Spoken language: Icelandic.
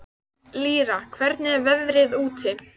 Lýra, hvernig er veðrið úti?